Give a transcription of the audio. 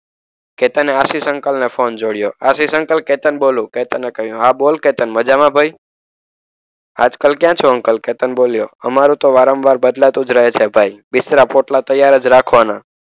કે તને આશિષ અંકલને ફોન જોડ્યો. આશિષ અંકલ કેતન બોલું કેતને કહ્યું. હા બોલ કે તને મજામાં ભાઈ. આજકાલ ક્યાં છો અંકલ? કેતન બોલ્યો. અમારું તો વારંવાર બદલાતું જ રહે છે ભાઈ. બિસ્તરા પોટલા તૈયાર જ રાખવાના.